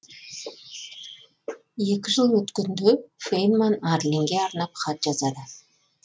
екі жыл өткенде фейнман арлинге арнап хат жазады